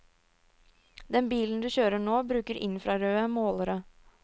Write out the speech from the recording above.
Den bilen du kjører nå, bruker infrarøde målere.